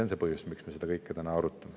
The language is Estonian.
See on põhjus, miks me seda kõike täna arutame.